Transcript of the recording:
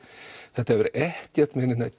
þetta hefur ekkert með neina